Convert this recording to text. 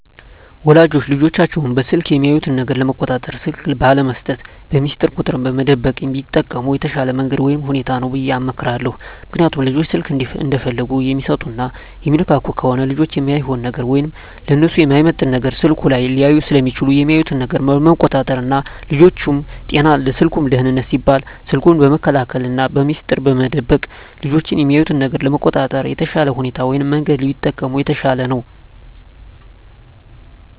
ወላጆች ልጆቻቸውን በስልክ የሚያዩት ነገር ለመቆጣጠር ስልክ ባለመስጠት፣ በሚስጥር ቁጥር መደበቅ ቢጠቀሙ የተሻለ መንገድ ወይም ሁኔታ ነው ብየ እመክራለሁ። ምክንያቱም ልጆች ስልክ እንደፈለጉ የሚሰጡና የሚነካኩ ከሆነ ልጆች እማይሆን ነገር ወይም ለነሱ የማይመጥን ነገር ስልኩ ላይ ሊያዩ ስለሚችሉ የሚያዩትን ነገር ለመቆጣጠር ና ለልጆቹም ጤና ለስልኩም ደህንነት ሲባል ስልኩን በመከልከልና በሚስጥር መደበቅ ልጆች የሚያዩትን ነገር ለመቆጣጠር የተሻለ ሁኔታ ወይም መንገድ ቢጠቀሙ የተሻለ ነው።